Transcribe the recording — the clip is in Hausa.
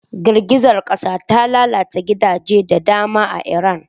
Girgizar kasar ta lalata gidaje da dama a Iran.